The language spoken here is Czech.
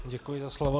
Děkuji za slovo.